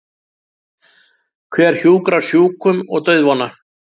Hver hjúkrar sjúkum og dauðvona?